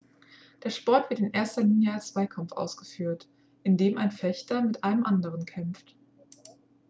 der sport wird in erster linie als zweikampf ausgeführt indem ein fechter mit einem anderen kämpft